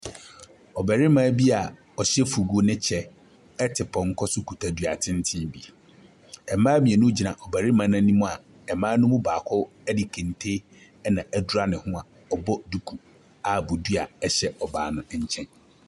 Ɔbarima bia ɔhyɛ fugu ne kyɛ ɛte pɔnkɔ so kuta dua tenten bi. Mmaa mmienu gyina ɔbarima n'anim a mmaa no mu baako ɛde kente na ɛdra ne ho a ɔbɔ duku a bodua ɛhyɛ ɔbaa no ɛnkyɛn.